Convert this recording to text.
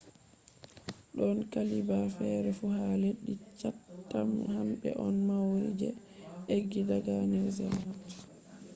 don qabila fere fu ha leddi chatham hambe on maori je eggi daga new zealand